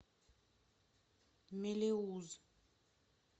мелеуз